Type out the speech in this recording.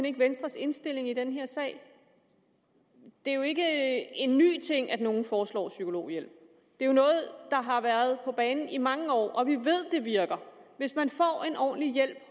ikke venstres indstilling i den her sag det er jo ikke en ny ting at nogen foreslår psykologhjælp det er noget der har været på banen i mange år og vi ved at det virker hvis man får en ordentlig hjælp